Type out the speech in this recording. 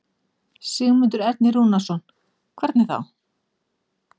Sigmundur Ernir Rúnarsson: Hvernig þá?